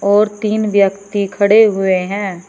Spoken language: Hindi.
और तीन व्यक्ति खड़े हुए हैं।